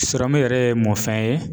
yɛrɛ ye mɔfɛn ye ?